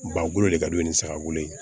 Ba bolo le kad'u ye ni saga bolo ye